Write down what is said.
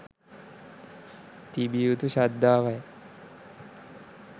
තිබිය යුතු ශ්‍රද්ධාවයි.